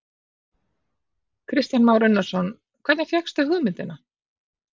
Kristján Már Unnarsson: Hvernig fékkstu hugmyndina?